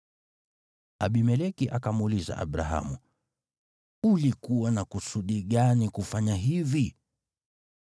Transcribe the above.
Abimeleki akamuuliza Abrahamu, “Ulikuwa na kusudi gani kufanya hivi?”